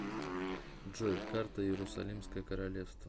джой карта иерусалимское королевство